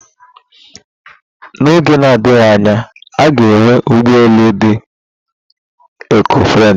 Na oge na-adịghị anya, a ga-enwe ụgbọ elu dị ekọ-friendlị